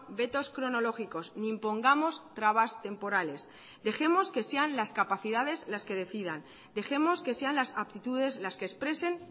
vetos cronológicos ni impongamos trabas temporales dejemos que sean las capacidades las que decidan dejemos que sean las aptitudes las que expresen